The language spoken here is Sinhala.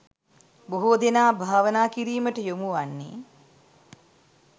බොහෝ දෙනා භාවනා කිරීමට යොමු වන්නේ